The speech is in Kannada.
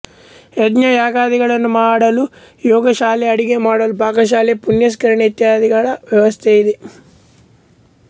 ಯಜ್ಞ ಯಾಗಾದಿಗಳನ್ನು ಮಾಡಲು ಯಾಗಶಾಲೆ ಅಡಿಗೆ ಮಾಡಲು ಪಾಕಶಾಲೆ ಪುಷ್ಕರಣಿ ಇತ್ಯಾದಿಗಳ ವ್ಯವಸ್ಥೆ ಇದೆ